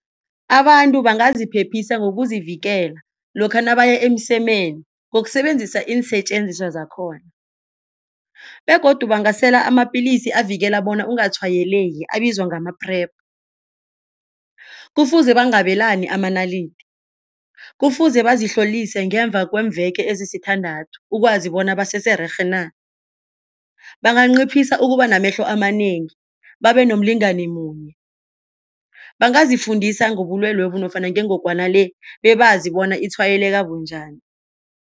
Abantu bangaziphephisa kokuzivikela lokha nabaya emsemeni ngokusebenzisa iinsetjenziswa zakhona begodu bangasela amapilisi avikela bona ungatshwayeleki abizwa ngama-PrEP. Kufuze bangabelani amanalidi, kufuze bazihlolisise ngemva kweemveke ezisithandathu ukwazi bona basesererhe na. Banganciphisa ukuba namehlo amanengi, babenomlingani munye, bangazifundisa ngobulwelobu nofana ngengogwana le bebazi bona itshwayeleke bunjani.